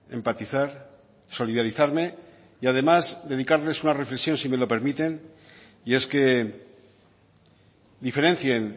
empatizar solidarizarme y además dedicarles una reflexión si me lo permiten y es que diferencien